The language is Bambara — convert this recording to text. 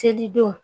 Selidenw